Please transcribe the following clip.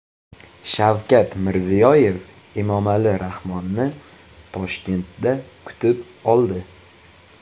Shavkat Mirziyoyev Emomali Rahmonni Toshkentda kutib oldi .